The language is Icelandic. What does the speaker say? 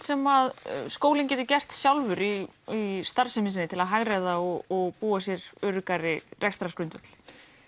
sem skólinn getur gert sjálfur í í starfsemi sinni til að hagræða og búa sér öruggari rekstrargrundvöll